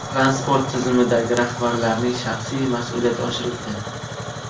Transport tizimidagi rahbarlarning shaxsiy mas’uliyati oshirildi.